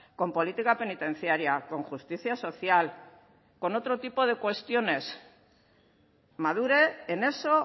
con política penitenciaria con justicia social con otro tipo de cuestiones madure en eso